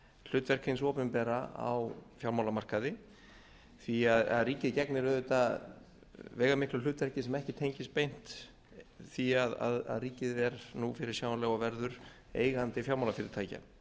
hlutverk hins opinbera á fjármálamarkaði því ríkið gegnir auðvitað veigamiklu hlutverki sem ekki tengist beint því að ríkið er nú fyrirsjáanlega og verður eigandi fjármálafyrirtækja